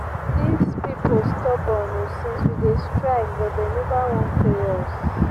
dis people stubborn oo since we dey strike but dey never wan pay us